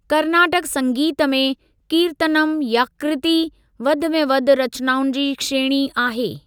कर्नाटक संगीत में कीर्तनम या कृति वधि में वधि रचनाउनि जी श्रेणी आहे।